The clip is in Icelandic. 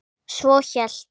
Svo hélt